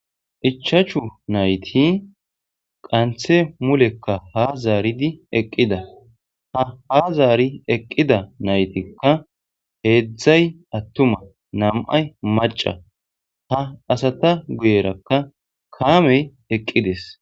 ichachu nayti qanthe mulekka ha zaaridi eqqida ha ha zaari eqqida naytikka heedzdzay attuma nam'ay maca ha asata guyerakka kaamey eqqides